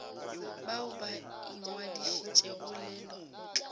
bao ba ingwadišitšego le lekgotla